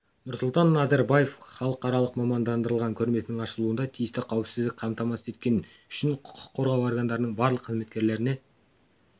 нұрсұлтан назарбаев халықаралық мамандандырылған көрмесінің ашылуында тиісті қауіпсіздікті қамтамасыз еткені үшін құқық қорғау органдарының барлық қызметкерлеріне